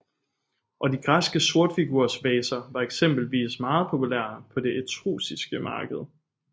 Og de græske sortfigursvaser var eksempelvis meget populære på det etruskiske marked